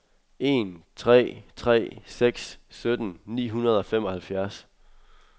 en tre tre seks sytten ni hundrede og femoghalvfjerds